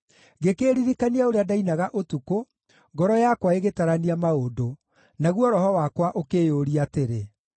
ngĩkĩĩririkania ũrĩa ndainaga ũtukũ, ngoro yakwa ĩgĩtarania maũndũ, naguo roho wakwa ũkĩyũũria atĩrĩ: